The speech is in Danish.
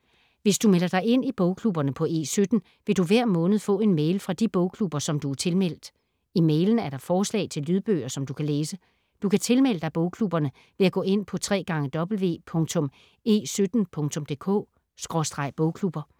Hvis du melder dig ind i bogklubberne på E17, vil du hver måned få en mail fra de bogklubber, som du er tilmeldt. I mailen er der forslag til lydbøger, som du kan læse. Du kan tilmelde dig bogklubberne ved at gå ind på www.e17.dk/bogklubber